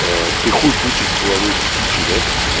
ты хуй бычий с головой птичьей да